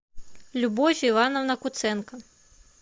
любовь ивановна куценко